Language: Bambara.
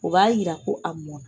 O b'a yira ko a mɔna